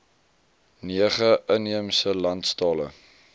nege inheemse landstale